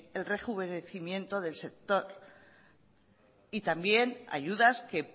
el rejuvenecimiento del sector y también ayudas que